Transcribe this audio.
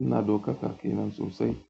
ina ɗaukaka kenan sossai.